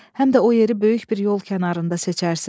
Həm də o yeri böyük bir yol kənarında seçərsiz.